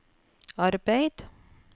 arbeid